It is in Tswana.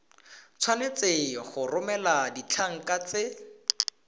tshwanetse go romela ditlankana tse